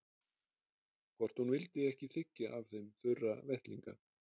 Hvort hún vildi ekki þiggja af þeim þurra vettlinga.